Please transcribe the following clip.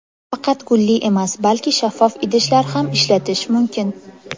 Faqat gulli emas, balki shaffof idishlar ham ishlatish mumkin.